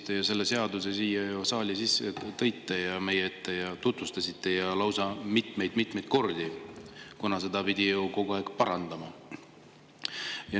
Teie selle seaduse siia saali meie ette tõite, seda tutvustasite ja lausa mitmeid-mitmeid kordi, kuna seda pidi ju kogu aeg parandama.